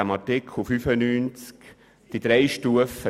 Wir haben im Artikel 95 heute drei Stufen.